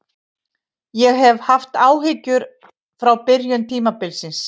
Ég hef haft áhyggjur frá byrjun tímabilsins.